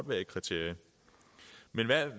være et kriterie men